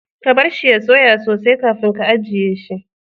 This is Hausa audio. Ka bar shi ya soya sosai kafin ka ajiye shi.